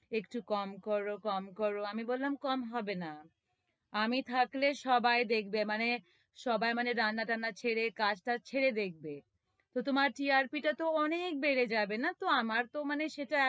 একটু কম করো, কম করো আমি বললাম, কম হবে না আমি থাকলে সবাই দেখবে, মানে, সবাই মানে, রান্না-টান্না ছেড়ে, কাজ-টাজ ছেড়ে দেখবে তো তোমার TRP টা তো অনেক বেড়ে যাবে না তো, আমার তো মানে সেটা,